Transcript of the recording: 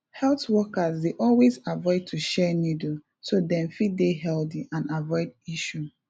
health workers dey always avoid to share needle so dem fit dey healthy and avoid issue